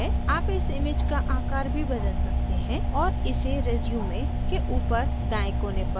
आप इस image का आकार भी बदल सकते हैं और इसे resume के ऊपर दाएँ कोने पर drag कर सकते हैं